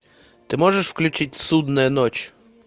ты можешь включить судная ночь